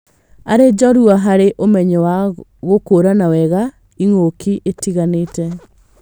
Arĩ njorua harĩ ũmenyo wa gũkũrana wega ĩng'uki itiganĩte